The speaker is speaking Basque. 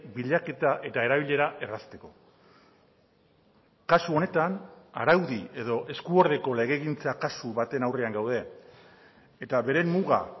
bilaketa eta erabilera errazteko kasu honetan araudi edo esku ordeko legegintza kasu baten aurrean gaude eta bere muga